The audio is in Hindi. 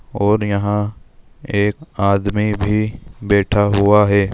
और यहा एक आदमी भी बैठा हुआ है।